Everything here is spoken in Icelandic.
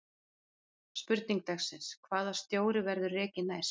Spurning dagsins: Hvaða stjóri verður rekinn næst?